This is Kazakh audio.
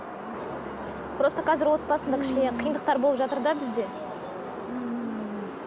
просто қазір отбасымда кішкене қиындықтар болып жатыр да бізде ммм